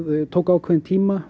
tók ákveðinn tíma